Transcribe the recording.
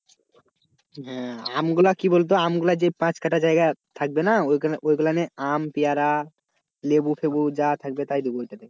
হ্যাঁ আমগুলো কি বলতো যে আমগুলো যে পাঁচকাঠা জায়গা থাকবে না ঐগুলানে আম, পেয়ারা, লেবু ফেবু যা থাকবে তাই দেব ওইটাতে।